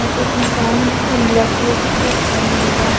यहा पे एक इंसान है जिसने ब्लैक कलर की शर्ट पहनी हुई है ।